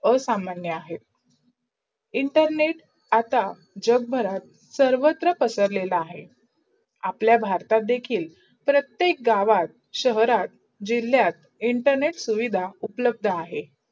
असामान्य अहे. internet आता जगभरात सर्व पसरलेला आहेत. आपल्या भारतात देखील प्रत्येक गावात, शहरात, जिल्यात इंटरनेट सुविधा उपलब्ध अहे.